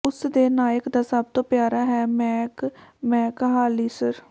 ਉਸ ਦੇ ਨਾਇਕ ਦਾ ਸਭ ਤੋਂ ਪਿਆਰਾ ਹੈ ਮੈਕ ਮੈਕਹਾਲਿਸਰ